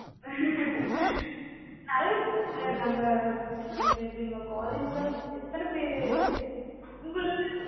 நிறைய பேரு நம்ம இப்ப எப்படி நம்ம college ல எத்தன பேரு உங்கள